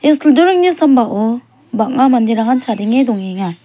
ia sildorengni sambao bang·a manderangan chadenge dongenga.